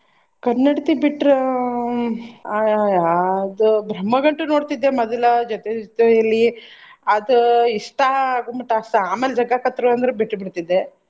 ಕನ್ನಡತಿ ಬಿಟ್ರ ಹ್ಮ್ ಆ ಅದ್ ಬ್ರಹ್ಮಗಂಟು ನೋಡ್ತಿದ್ದೆ ಮೊದಲ ಜೊತೆಜೊತೆಯಲಿ ಅದ್ ಇಷ್ಟಾ ಆಗುಮಟ ಅಷ್ಟ ಆಮ್ಯಾಲ್ ಜಗ್ಗಾಕತ್ರು ಅಂದ್ರು ಬಿಟ್ಟು ಬಿಡ್ತಿದ್ದೆ.